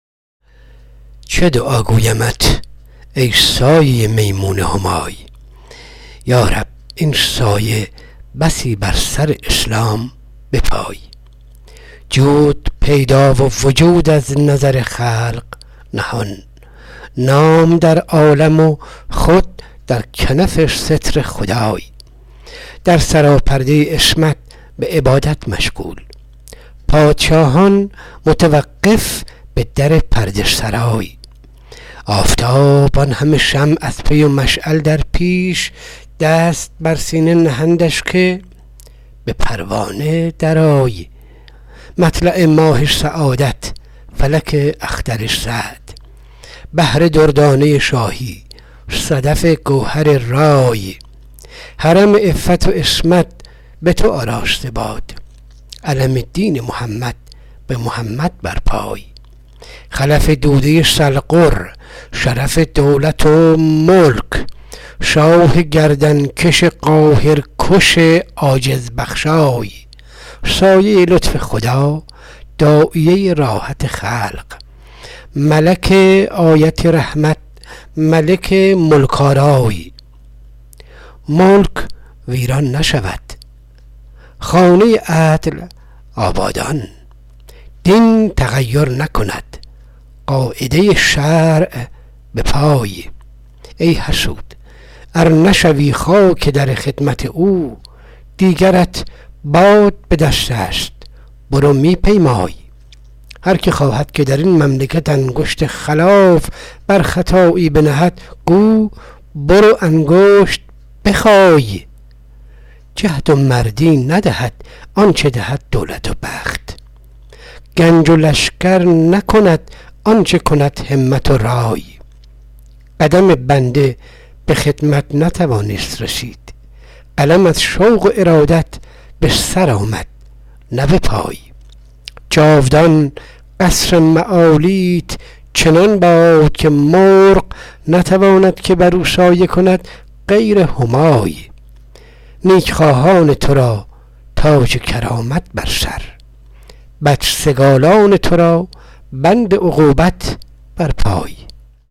چه دعا گویمت ای سایه میمون همای یارب این سایه بسی بر سر اسلام بپای جود پیدا و وجود از نظر خلق نهان نام در عالم و خود در کنف ستر خدای در سراپرده عصمت به عبادت مشغول پادشاهان متوقف به در پرده سرای آفتاب اینهمه شمع از پی و مشعل در پیش دست بر سینه نهندش که به پروانه درآی مطلع برج سعادت فلک اختر سعد بحر دردانه شاهی صدف گوهرزای حرم عفت و عصمت به تو آراسته باد علم دین محمد به محمد برپای خلف دوده سلغر شرف دولت و ملک ملک آیت رحمت ملک ملک آرای سایه لطف خدا داعیه راحت خلق شاه گردنکش دشمن کش عاجز بخشای ملک ویران نشود خانه خیر آبادان دین تغیر نکند قاعده عدل به جای ای حسود ار نشوی خاک در خدمت او دیگرت باد به دستست برو می پیمای هر که خواهد که در این مملکت انگشت خلاف بر خطایی بنهد گو برو انگشت بخای جهد و مردی ندهد آنچه دهد دولت و بخت گنج و لشکر نکند آنچه کند همت و رای قدم بنده به خدمت نتوانست رسید قلم از شوق و ارادت به سر آمد نه به پای جاودان قصر معالیت چنان باد که مرغ نتواند که برو سایه کند غیر همای نیکخواهان تو را تاج کرامت بر سر بدسگالان تو را بند عقوبت در پای